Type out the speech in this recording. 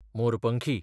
मोरपंखी